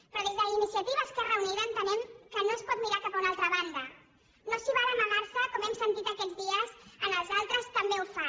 però des d’iniciativa esquerra unida entenem que no es pot mirar cap a una altra banda no s’hi val a amagarse com hem sentit aquests dies en els altres també ho fan